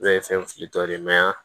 ye fɛn filitɔ ye